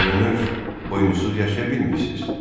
Görünür, oyunsuz yaşaya bilmirsiz.